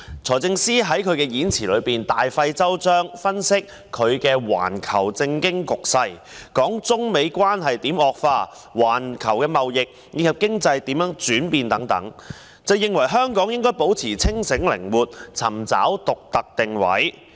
財政司司長在演辭中，大費周章地分析環球政經局勢，談論中美貿易戰如何惡化及環球貿易及經濟如何轉變等，認為"需要保持清醒靈活，尋找香港的獨特定位"。